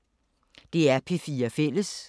DR P4 Fælles